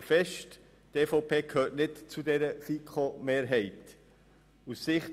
Ich halte fest, dass die EVP nicht zu dieser FiKo-Mehrheit gehört.